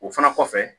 O fana kɔfɛ